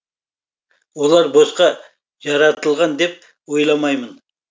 олар босқа жаратылған деп ойламаймын